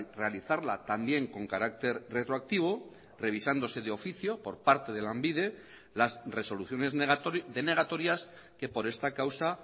realizarla también con carácter retroactivo revisándose de oficio por parte de lanbide las resoluciones denegatorias que por esta causa